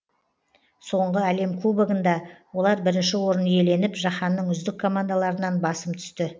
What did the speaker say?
соңғы әлем кубогында олар бірінші орын иеленіп жаһанның үздік командаларынан басым түсті